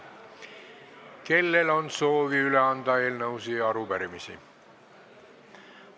Kellel on soovi üle anda eelnõusid ja arupärimisi?